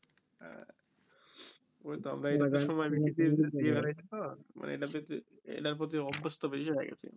ওই তো আমার এটা টে সময় বেশি বেশি দিয়ে বেরাই তো মানে এটার প্রতি অভ্যস্ত বেশি হয়ে গেছি আমারা